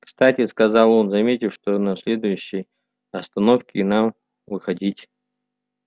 кстати сказал он заметив что на следующей остановке нам выходить